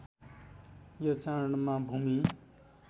यो चाडमा भूमि